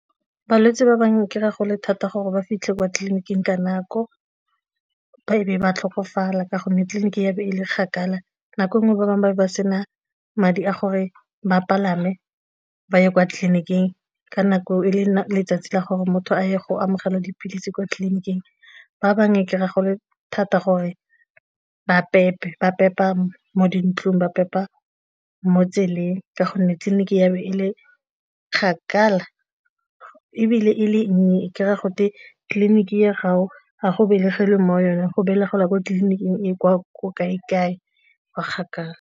Balwetse ba bangwe o kry-a go le thata gore ba fitlhe kwa tleliniking ka nako, e be ba tlhokofala ka gonne tleliniki e be e le kgakala, nako nngwe ba bangwe ba ne ba sena madi a gore ba palame ba ye kwa tleliniking ka nako e le letsatsi la gore motho a ye go amogela dipilisi kwa tleliniking, ba bangwe e kry-a e le thata gore ba pepe ba pepa mo dintlong, ba pepa mo tseleng ka gonne tleliniki e be e le kgakala ebile e le nnye e kry-a gote tleliniki ya gago a go belegelwe mo yona, go belegela kwa tleliniking e kwa ko kae-kae kwa kgakala.